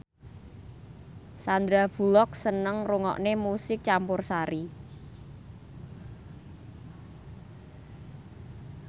Sandar Bullock seneng ngrungokne musik campursari